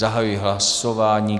Zahajuji hlasování.